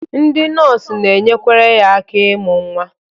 Ndị nọọsụ na-enyekwere ya aka ịmụ nwa.